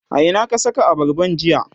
a Ina ka Saka abarban jiya?